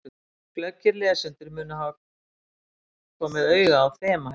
Glöggir lesendur munu hafa komið auga á þema hérna.